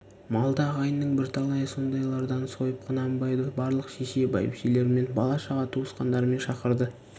малды ағайынның бірталайы сондайлардан сойып құнанбайды барлық шеше бәйбішелерімен бала-шаға туысқандарымен шақырады